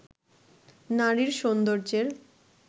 নারীর সৌন্দের্যের